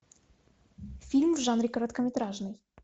фильм в жанре короткометражный